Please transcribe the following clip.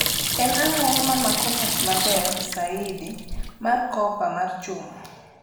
en ango ma mako mach maber saidi mar kopa mar chuma